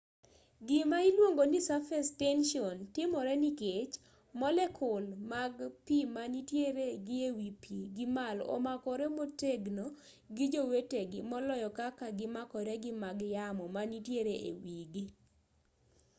gima iluongo ni surface tension timore nikech molekul mag pi manitiere gi e wi pi gimalo omakore motegno gi jowetegi moloyo kaka gimakore gi mag yamo manitiere e wi gi